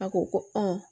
A ko ko